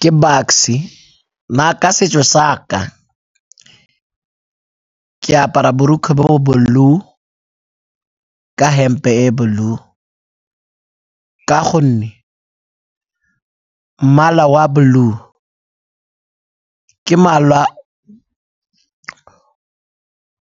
Ke Bucks-e, nna ka setso sa ka ke apara borokgwe bo blue, ka hempe e blue, ka gonne mmala wa blue ke mmala